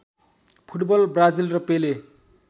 football Brazil र पेले